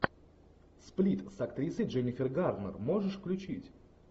сплит с актрисой дженнифер гарнер можешь включить